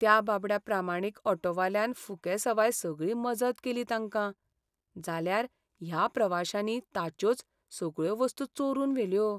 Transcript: त्या बाबड्या प्रामाणीक ऑटोवाल्यान फुकेसवाय सगळी मजत केली तांकां, जाल्यार ह्या प्रवाशांनी ताच्योच सगळ्यो वस्तू चोरून व्हेल्यो.